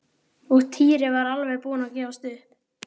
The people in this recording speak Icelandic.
Og Týri var alveg búinn að gefast upp.